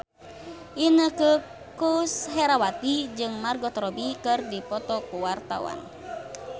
Inneke Koesherawati jeung Margot Robbie keur dipoto ku wartawan